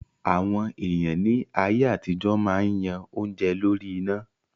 Àwọn èèyàn ní ayé àtijọ́ máa yan oúnjẹ lórí iná